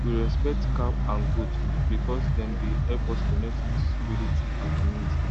we respect cow and goat because dem dey help us connect with spirit and community